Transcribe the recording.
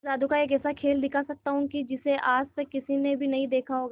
मैं जादू का एक ऐसा खेल दिखा सकता हूं कि जिसे आज तक किसी ने भी नहीं देखा होगा